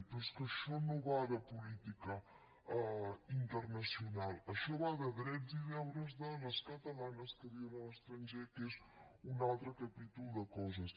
però és que això no va de política internacional això va de drets i deures de les catalanes que viuen a l’estranger que és un altre capítol de coses